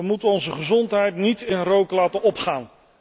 We moeten onze gezondheid niet in rook laten opgaan.